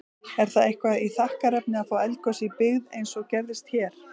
Er það eitthvað þakkarefni að fá eldgos í byggð, eins og gerðist hér?